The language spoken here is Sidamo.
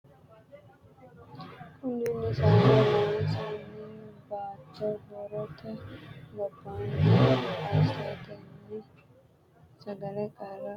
Kunninni saeno, loosi’nanni baatto horote gobbaanni assatenni sagalete qarra kalaqanno Kunninni saeno, loosi’nanni baatto horote gobbaanni assatenni sagalete qarra kalaqanno.